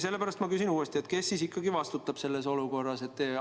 Sellepärast ma küsin uuesti: kes ikkagi vastutab selles olukorras?